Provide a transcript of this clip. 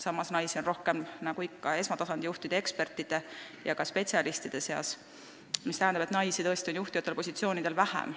Samas on naisi rohkem esmatasandi juhtide, ekspertide ja ka spetsialistide seas, mis tähendab, et naisi tõesti on kõrgetel juhtivatel positsioonidel vähem.